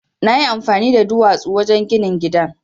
Na yi amfani da duwatsu wajen ginin gidan.